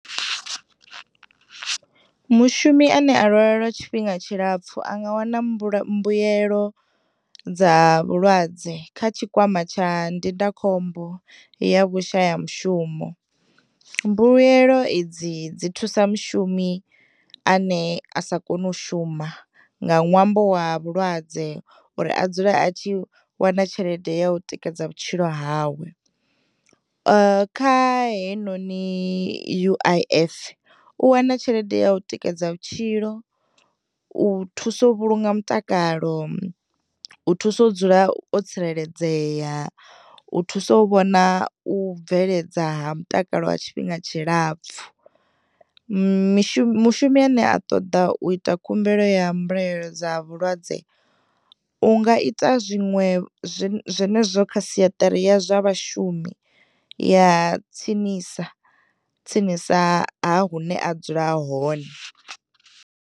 Mushumi ane a lwala lwa tshifhinga tshilapfu anga wana mbula, mbuyelo dza vhulwadze kha tshikwama tsha ndindakhombo ya vhushaya mushumo. Mbuyelo edzi ḓzi thusa mushumi ane asa kono u shuma nga ṅwambo wa vhulwadze uri adzule atshi wana tshelede ya u tikedza vhutshilo hawe. Kha heyinoni U_I_F, u wana tshelede ya u tikedza vhutshilo, u thuso vhulunga mutakala, u thuso dzula o tsireledzeya, u thuso u vhona u bveledza ha mutakalo ha tshifhinga tshilapfu. Mishu, mushumi ane a ṱoḓa u ita khumbelo ya mbuelo dza vhulwadze, unga ita zwiṅwe zwenezwo kha siaṱari ya zwa vhashumi ya tsinisa, tsinisa ha hune adzula hone.